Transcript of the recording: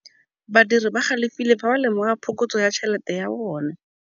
Badiri ba galefile fa ba lemoga phokotsô ya tšhelête ya bone.